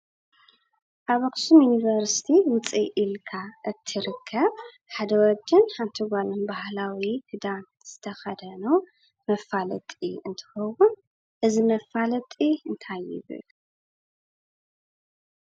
ኣብ ኣክሱም ዩኒቨርስቲ ውፅእ ኢልካ እትርከብ ሓደ ወድን ሓቲ ጓልን ባህላዊ ክዳን ዝተከደኑ መፋለጢ እንትትከውን እዚ መፋለጢ እንታይ ይብል?